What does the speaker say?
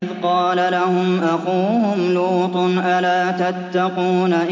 إِذْ قَالَ لَهُمْ أَخُوهُمْ لُوطٌ أَلَا تَتَّقُونَ